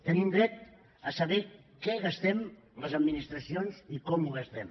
tenim dret a saber què gastem les administracions i com ho gastem